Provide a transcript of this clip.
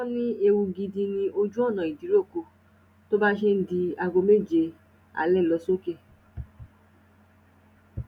wọn ní ewu gidi ni ojú ọnà ìdíròkọ tó bá ṣe ń di aago méje alẹ lọ sókè